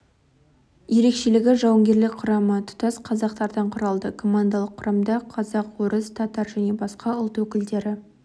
ерекшелігі жауынгерлік құрамы тұтас қазақтардан құралды командалық құрамда қазақ орыс татар және басқа ұлт өкілдері